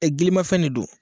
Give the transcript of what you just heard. gilimafɛn ne don.